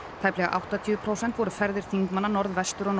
tæplega áttatíu prósent voru ferðir þingmanna Norðvestur og